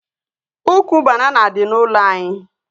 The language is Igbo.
Ụkwụ banana dị n'ụlọ anyị